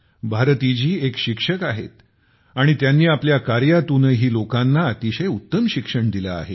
भारती जी एक शिक्षक आहेत आणि त्यांनी आपल्या कार्यातूनही लोकांना अतिशय उत्तम शिक्षण दिले आहे